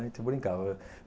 A gente brincava.